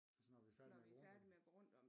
Altså når vi er færdige med at gå rundt